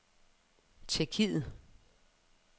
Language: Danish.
Tjekkiet